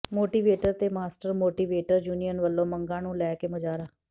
motivator ਤੇ master motivator union ਵਲੋਂ ਮੰਗਾਂ ਨੂੰ ਲੈ ਕੇ ਮੁਜ਼ਾਹਰਾ